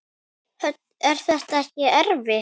Hödd: Er þetta ekkert erfitt?